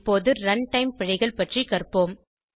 இப்போது ரன்டைம் பிழைகள் பற்றி கற்போம்